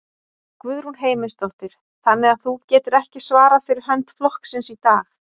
Guðrún Heimisdóttir: Þannig að þú getur ekki svarað fyrir hönd flokksins í dag?